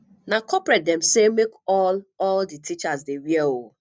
na corporate dem sey make all all di teachers dey wear o